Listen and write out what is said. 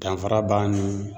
Danfara b'a ni